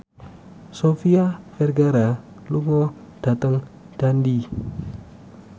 Sofia Vergara lunga dhateng Dundee